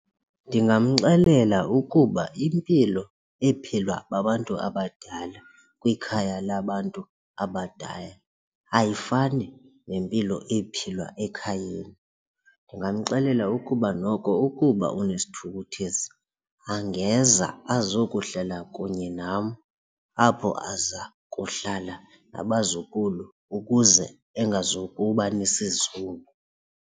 Ndingamxelela ukuba impilo ephilwa babantu abadala kwikhaya labantu abadala ayifani nempilo ephilwa ekhayeni. Ndingamxelela ukuba noko ukuba unesithukuthezi angeza azokuhlala kunye nam apho aza kuhlala nabazukulu ukuze engazokuba nesizungu.